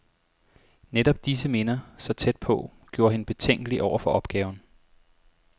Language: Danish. Netop disse minder, så tæt på, gjorde hende betænkelig over for opgaven.